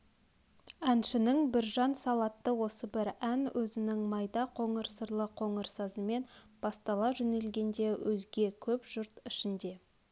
әншінің біржан-сал атты осы бір ән өзнің майда қоңыр сырлы қоңыр сазымен бастала жөнелгенде өзге көп жұрт ішінде